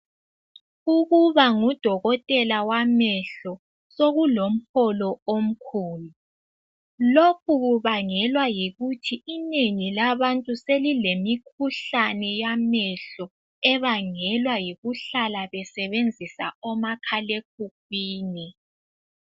Ukuba ngudokotela wamehlo sokulomholo omkhulu lokhu kubangelwa yikuthi inengi labantu selilemikhuhlane yamehlo ebangelwa yikuhlala besebenzisa omakhale khukhwini.